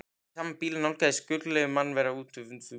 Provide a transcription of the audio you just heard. Í sama bili nálgaðist skuggaleg mannvera utan úr húminu.